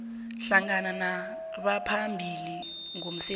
hlangana nabaphambili ngomsebenzi